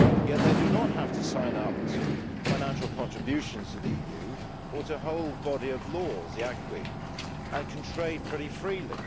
Yet they do not have to sign up to financial contributions to the EU or to a whole body of law, the acquis, and can trade pretty freely.